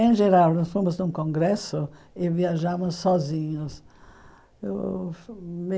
Em geral, nós fomos num congresso e viajamos sozinhos.